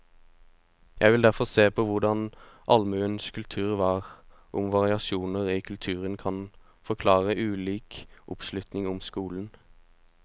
Jeg vil derfor se på hvordan allmuens kultur var, og om variasjoner i kulturen kan forklare ulik oppslutning om skolen.